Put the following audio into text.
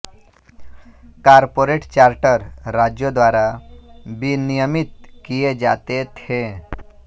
corporate charter राज्यों द्वारा विनियमित किए जाते थे